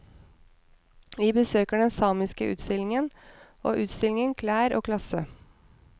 Vi besøker den samiske utstillingen, og utstillingen klær og klasse.